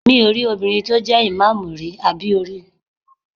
Mi ò rí obìnrin tó jẹ́ ìmáàmù rí, àbí o rí?